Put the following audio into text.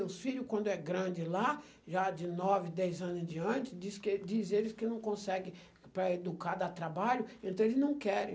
Os filho, quando é grande lá, já de nove, dez anos em diante, diz que diz eles que não consegue, para educar dá trabalho, então eles não querem.